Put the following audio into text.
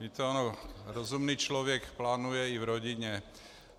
Víte, on rozumný člověk plánuje i v rodině.